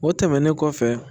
O tɛmɛnen kɔfɛ